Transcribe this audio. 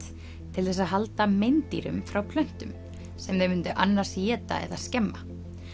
til þess að halda meindýrum frá plöntum sem þau myndu annars éta eða skemma